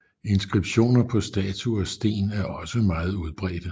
Inskriptioner på statuer og sten er også meget udbredte